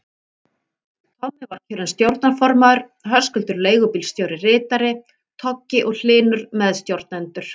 Tommi var kjörinn stjórnarformaður, Höskuldur leigubílstjóri ritari, Toggi og Hlynur meðstjórnendur.